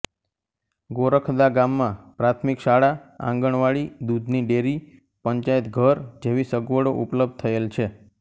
ગોરખદા ગામમાં પ્રાથમિક શાળા આંગણવાડી દૂધની ડેરી પંચાયતઘર જેવી સગવડો ઉપલબ્ધ થયેલ છે